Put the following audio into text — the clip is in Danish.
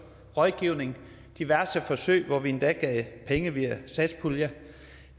rådgivning diverse forsøg hvor vi endda gav penge via satspuljen